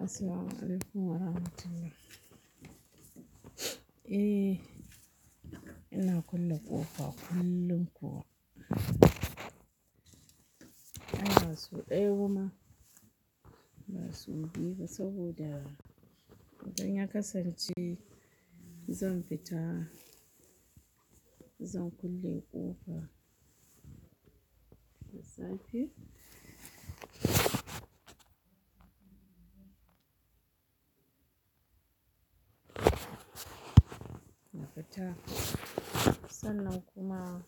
Assalamualaikum warahmatullah. Eh, ina kulle ƙofa kullum kuwa. Ai ba so daya ba ma, ban so biyu ba saboda idan ya kasance zan fita, zan kulle ƙofa. Da safe. Na fita, sannan kuma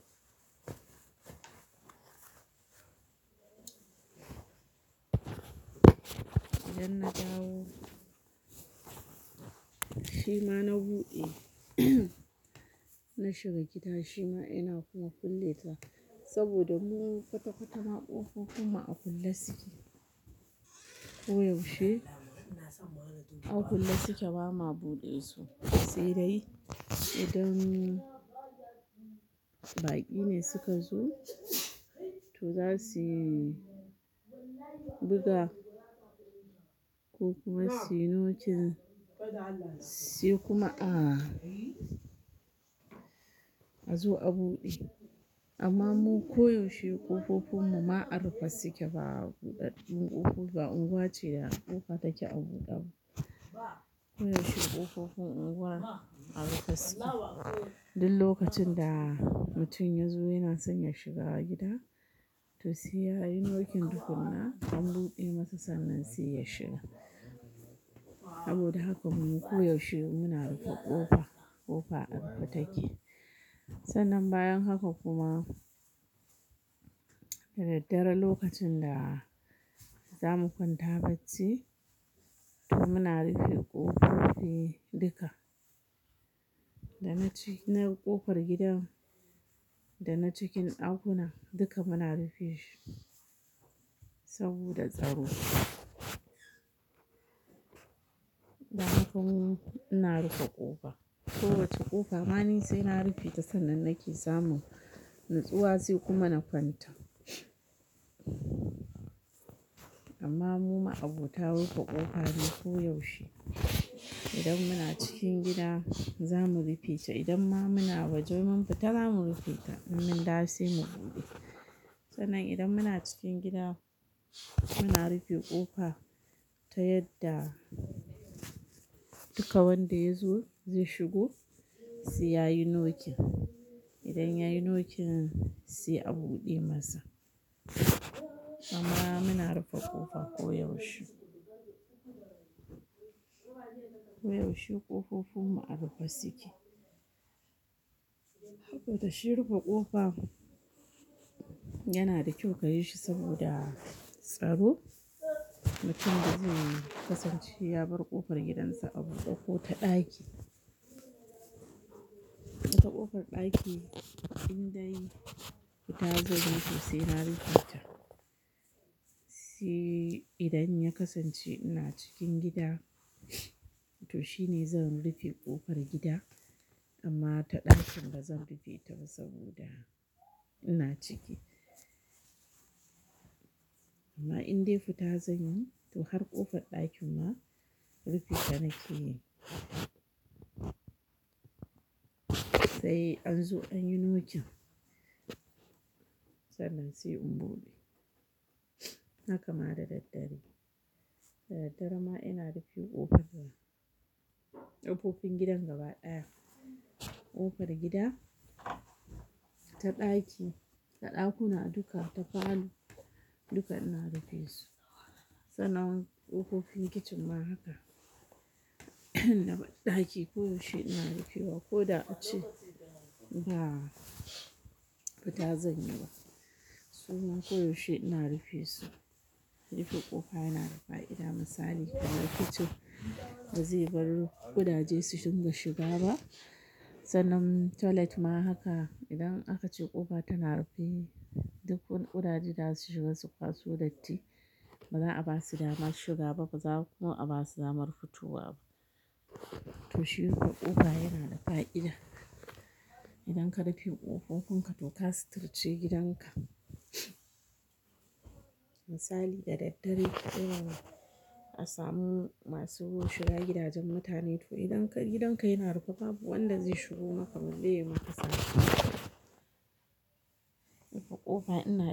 idan na dawo shima na buɗe, na shiga gida shima ina kuma kulle ta saboda mu ƙwataƙwata ma ƙofofin mu a kulle suke. Koyaushe a kulle suke ba ma a buɗe su, sai dai idan baƙi ne suka zo, to za su buga ko kuma su yi nokin, sai kuma a zo a buɗe. Amma mu koyaushe ƙofofin mu ma a rufe suke ba a buɗaddu ba unguwa ce da ƙofa take a buɗe a buɗe ba. Koyaushe ƙofofin unguwa a rufe suke. Duk lokacin da mutum ya zo yana son ya shiga gida, to sai ya yi nokin tukunna an buɗe masa sannan sai ya shiga. Saboda haka mu koyaushe muna rufe ƙofa, ƙofa a rufe take. Sannan bayan haka kuma, da daddare lokacin da za mu kwanta bacci, to muna rufe ƙofofi duka. Da na ci na ƙofar gidan da na cikin ɗakuna duka muna rufe shi saboda tsaro. Da haka mun ina rufe ƙofa. Kowace ƙofa ma ni sai na rufe ta sannan nake samun natsuwa sai kuma na kwanta. Amma mu ma'abota rufe ƙofa ne koyaushe. Idan muna cikin gida za mu rufe ta, idan ma muna waje mun fita za mu rufe ta, idan mun dawo sai mu buɗe. Sannan idan muna cikin gida muna rufe ƙofa ta yadda duka wanda ya zo zai shigo sai ya yi nokin. Idan ya yi nokin sai a buɗe masa. Amma muna rufe ƙofa koyaushe. Koyaushe ƙofofin mu a rufe suke. Saboda shi rufe ƙofa yana da kyau ka yi shi saboda tsaro. Mutum da zai kasance ya bar ƙofar gidansa a buɗe ko ta ɗaki. Ta ƙofar ɗaki in dai fita zanyi to sai na rufe ta. Sai idan ya kasance ina cikin gida, to shine zan rufe ƙofar gida amma ta ɗakin ba zan rufe ta ba saboda ina ciki. Amma in dai fita zanyi to har ƙofar ɗakin ma rufe ta nake yi. Sai an zo anyi nokin sannan sai in buɗe. Haka ma da daddare. Da daddare ma ina rufe ƙofar, ƙofofin gidan gaba ɗaya. Ƙofar gida, ta ɗaki, ta ɗakuna duka, ta falo duka ina rufe su. Sannan ƙofofin kicin ma haka. Na ɗaki koyaushe ina rufewa ko da ace ba fita zanyi ba. Suma koyaushe ina rufe su. Rufe ƙofa yana da fa'ida. Misali kamar kicin ba zai bar ƙudaje su dinga shiga ba. Sannan toilet ma haka. Idan aka ce ƙofa tana rufe, duk wani ƙudaje da za su shiga su kwaso datti. Ba za a ba su damar shiga ba, ba za a kuma ba su damar futowa ba. To shi rufe ƙofa yana da fa'ida. Idan ka rufe ƙofofin ka to ka suturce gidanka. Misali da daddare irinn a samu masu shiga gidajen mutane, to idan ka, gidanka yana rufe babu wanda zai shigo maka balle ya maka sata. Rufe ƙofa ina da.